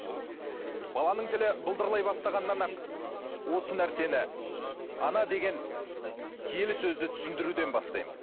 баланың тілі былдырлай бастағаннан ақ осы нәрсені ана деген киелі сөзді түсіндіруден бастаймыз